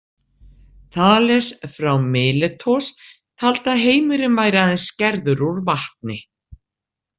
Þales frá Míletos taldi að heimurinn væri aðeins gerður úr vatni.